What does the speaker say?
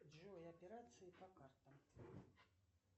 джой операции по картам